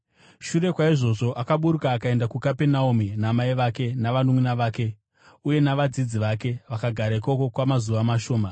Shure kwaizvozvo akaburuka akaenda kuKapenaume namai vake, navanunʼuna vake uye navadzidzi vake. Vakagara ikoko kwamazuva mashoma.